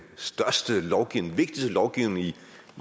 vigtigste lovgivning